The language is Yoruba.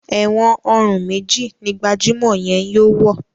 èwòn òrun méjì ní gbajumọ yén yóò wọ.